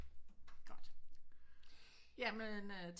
Godt jamen øhh